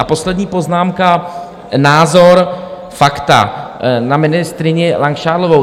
A poslední poznámka, názor, fakta, na ministryni Langšádlovou.